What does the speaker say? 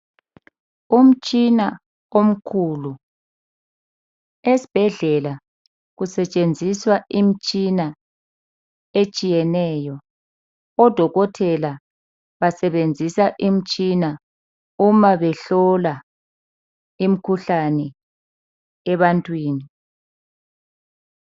Umtshina omkhulu. Esibhedlela kusetshenziswa imitshina etshiyeneyo . Odokotela basebenzisa imitshina uma behlola imikhuhlane ebantwini.